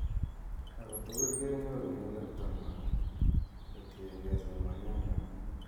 Ako tugul konyoru melekto nywaa ko tiengee somanet nywaa.